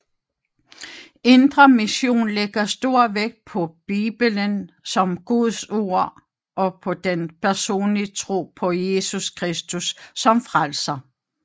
Indre Mission lægger stor vægt på Bibelen som Guds ord og på den personlige tro på Jesus Kristus som Frelser